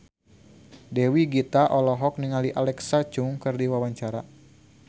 Dewi Gita olohok ningali Alexa Chung keur diwawancara